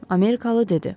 Amerikalı dedi.